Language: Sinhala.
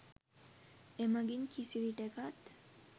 එමගින් කිසිවිටෙකත්